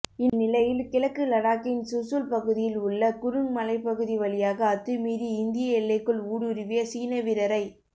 இந்நிலையில் கிழக்கு லடாக்கின் சுசூல் பகுதியில் உள்ள குருங் மலைப்பகுதி வழியாக அத்துமீறி இந்திய எல்லைக்குள் ஊடுருவிய சீன வீரரை